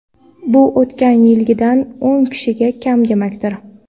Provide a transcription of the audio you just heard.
Bu o‘tgan yildagidan o‘n kishiga kam demakdir.